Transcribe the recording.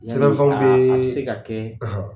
Sɛbɛn fɛnw bɛ a bɛ se ka kɛ